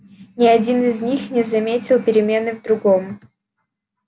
ни один из них не заметил перемены в другом